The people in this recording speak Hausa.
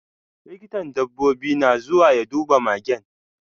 Likitan dabbobi na zuwa ya duba magen.